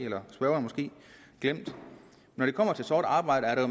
glemt når det kommer til sort arbejde er der